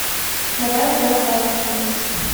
давай играть в апп хревс